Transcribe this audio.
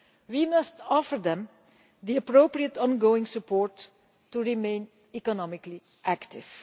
We must offer them appropriate ongoing support to remain economically active.